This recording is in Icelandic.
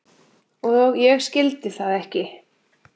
Og ég skildi það ekki.